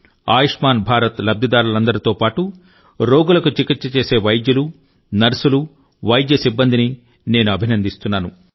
ఆయుష్మాన్ భారత్ లబ్దిదారులందరితో పాటు రోగులకు చికిత్స చేసే వైద్యులు నర్సులు మరియు వైద్య సిబ్బందిని నేను అభినందిస్తున్నాను